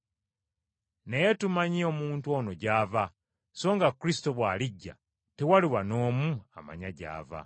Naye tumanyi omuntu ono gy’ava; so nga Kristo bw’alijja tewaliba n’omu amanya gy’ava.”